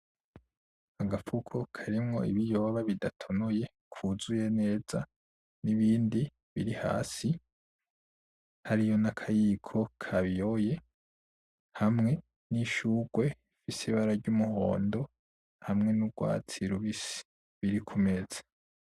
Agafuko karimwo ibiyoba bidatonoye kuzuye neza n’ibindi biri hasi hariyo n’akayiko kabiyoye hamwe n’ishurwe risa ibara ry’umuhondo hamwe n’urwatsi rubisi biri ku meza